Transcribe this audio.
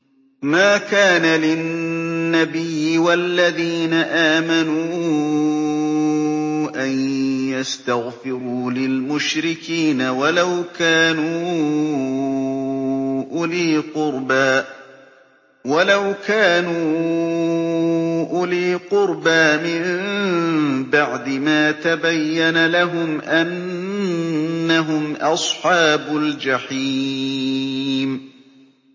مَا كَانَ لِلنَّبِيِّ وَالَّذِينَ آمَنُوا أَن يَسْتَغْفِرُوا لِلْمُشْرِكِينَ وَلَوْ كَانُوا أُولِي قُرْبَىٰ مِن بَعْدِ مَا تَبَيَّنَ لَهُمْ أَنَّهُمْ أَصْحَابُ الْجَحِيمِ